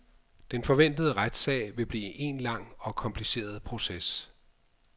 Den forventede retssag vil blive en lang og kompliceret proces.